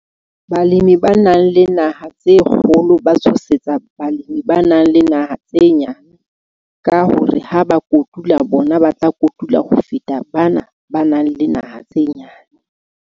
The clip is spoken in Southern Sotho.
Balemi ba nang le naha tse kgolo ba tshosetsa balemi ba nang le naha tse nyane, ka hore ha ba kotula bona ba tla kotula ho feta bana ba nang le naha tse nyane.